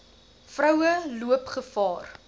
vroue loop gevaar